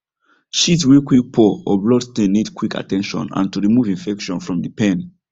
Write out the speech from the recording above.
shit way quick pour or blood stain needs quick at ten tion and to remove infection from the pen